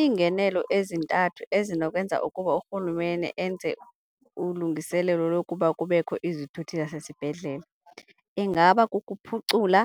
Iingenelo ezintathu ezinokwenzeka ukuba urhulumente enze ulungiselelo lokuba kubekho izithuthi zasesibhedlele, ingaba kukuphucula